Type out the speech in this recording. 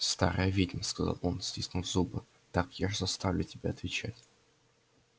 старая ведьма сказал он стиснув зубы так я ж заставлю тебя отвечать